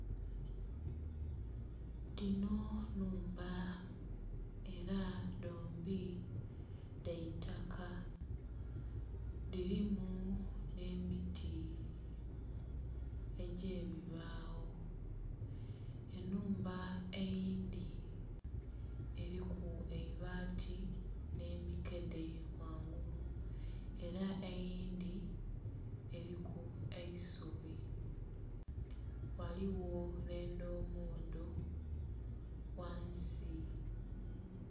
Dhinho nhumba era dhombi dhaitaka dhirimu nh'emiti egyebibagho, enhumba eyindhi eriku eibaati nhemi kedhe ghangulu era eyindhi eriku eisubi ghaligho nh'endhombodho ghansi.